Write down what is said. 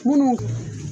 Munnu